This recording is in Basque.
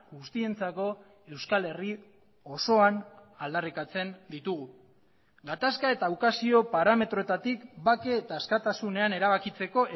guztientzako euskal herri osoan aldarrikatzen ditugu gatazka eta ukazio parametroetatik bake eta askatasunean erabakitzeko